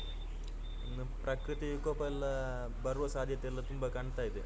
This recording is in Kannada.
ಹ್ಮ್ ಇನ್ನು ಪ್ರಕೃತಿ ವಿಕೋಪ ಎಲ್ಲಾ ಬರುವ ಸಾಧ್ಯತೆಯೆಲ್ಲಾ ತುಂಬಾ ಕಾಣ್ತಾ ಇದೆ.